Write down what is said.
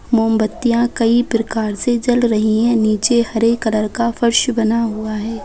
मोमबत्तियां कई प्रकार से जल रही है नीचे हरे कलर का फर्श बना हुआ है।